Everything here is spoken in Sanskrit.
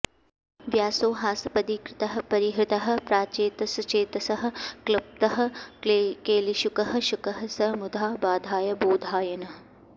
व्यासो हासपदी कृतः परिहृतः प्राचेतसश्चेतसः क्लुप्तः केलिशुकः शुकः स च मुधा बाधाय बोधायनः